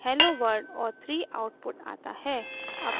hello world और 3 output आता है